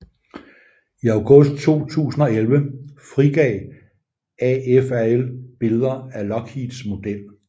I August 2011 frigav AFRL billeder af Lockheeds model